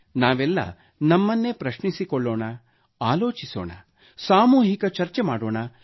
ನಾವೆಲ್ಲ ನಮನ್ನೇ ಪ್ರಶ್ನಿಸಿಕೊಳ್ಳೋಣ ಆಲೋಚಿಸೋಣ ಸಾಮೂಹಿಕ ಚರ್ಚೆ ಮಾಡೋಣ